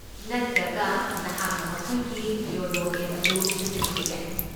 ꯅꯠꯇ꯭ꯔꯒ, ꯅꯍꯥꯛꯅ ꯃꯈꯣꯏꯒꯤ ꯌꯣꯅꯣ ꯑꯦꯞ ꯑꯗꯨ ꯁꯤꯖꯤꯟꯅꯕ ꯌꯥꯏ꯫